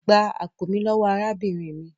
Gbá àpò mi lówó arábìnrin mí!